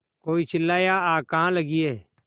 कोई चिल्लाया आग कहाँ लगी है